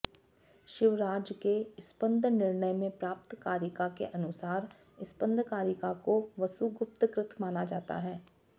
शिवराज के स्पन्दनिर्णय में प्राप्त कारिका के अनुसार स्पन्दकारिका को वसुगुप्त कृत माना जाता है